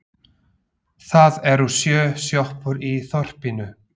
Það eru sjö sjoppur í þorpinu!